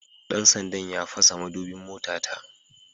Dan sandan ya fasa madubin motata